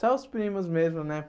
Só os primos mesmo, né?